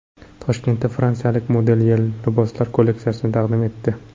Toshkentda fransiyalik modelyer liboslar kolleksiyasini taqdim etdi.